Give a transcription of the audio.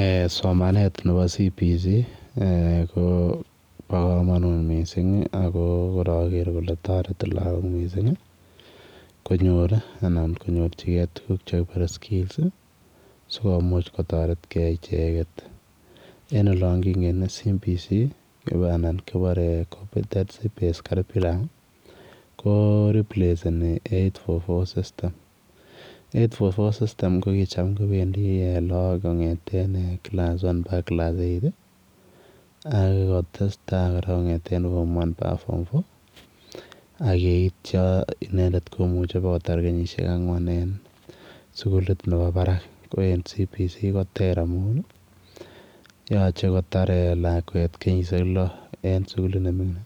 Eeh somanet nebo [competency based curriculum] ko bo kamanut missing ako kora get kole taretii lagoon missing ii konyoor anan konyorjigei tuguul chekibuate [skills] ii sikomuuch kotaret gei ichegeet en olaan king en [competency based curriculum] anan kibore [competency based curriculum] ii ko replace in [eight four four system] [eight four four system] ko ko ham kobendii loagok kongethen class one akoot class eight ako tesetai kora kongethen form one mbaka form four ak yeitya kowaa koyaat kenyisiek angween ako en [competency based curriculum] ko ter yachei kotaar lakweet kenyisiek loo en suguliit ne minging